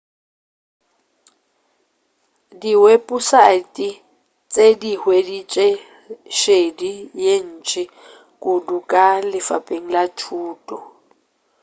diweposaete tše di hweditše šedi ye ntši kudu ka lefapeng la thuto